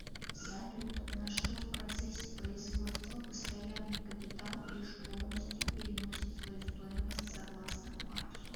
салют на что в процессе производства постоянный капитал лишь полностью переносит свою стоимость согласно марксу